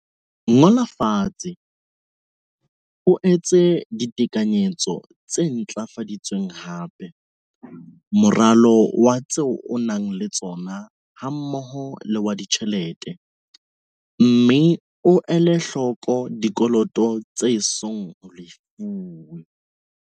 Ngola fatshe, o etse ditekanyetso tse ntlafaditsweng hape, moralo wa tseo o nang le tsona hammoho le wa ditjhelete, mme o ele hloko dikoloto tse esong ho lefuwe.